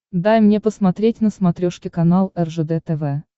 дай мне посмотреть на смотрешке канал ржд тв